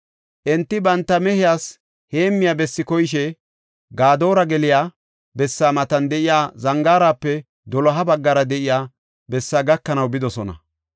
Enti banta mehiyas heemmiya bessi koyishe Gadoora geliya bessaa matan de7iya zangaarape doloha baggara de7iya bessaa gakanaw bidosona.